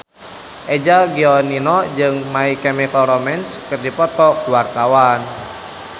Eza Gionino jeung My Chemical Romance keur dipoto ku wartawan